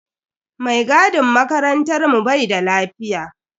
Mai gadin makarantar mu bai da lafiya.